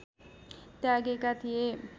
त्यागेका थिए